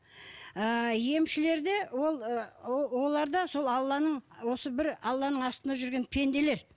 ыыы емшілер де ол ы ол олар да сол алланың осы бір алланың астында жүрген пенделер